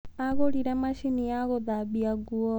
Agũrire macini ya gũthambia nguo.